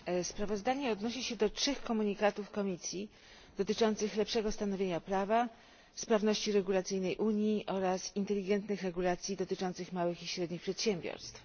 Sprawozdanie odnosi się do trzech komunikatów Komisji dotyczących lepszego stanowienia prawa, sprawności regulacyjnej Unii oraz inteligentnych regulacji dotyczących małych i średnich przedsiębiorstw.